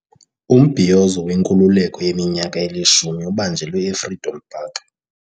Umbhiyozo wenkululeko yeminyaka elishumi ubanjelwe eFreedom Park.